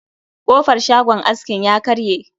Kofar shagon askin ya karye